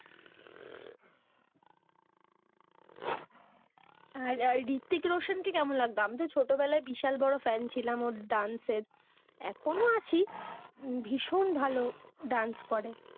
আর হৃতিক রোশান কে কেমন লাগতো? আমি তো ছোটবেলায় বিশাল বড়ো ফ্যান ছিলাম ওর dance এখনো আছি, ভীষণ ভালো dance করে।